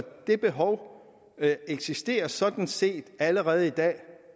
det behov eksisterer sådan set allerede i dag